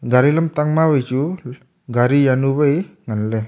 gari lamtang ma wai chu gari jawnu wai ngan ley.